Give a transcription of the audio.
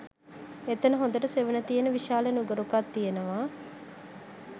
එතන හොඳට සෙවණ තියෙන විශාල නුගරුකක් තියෙනවා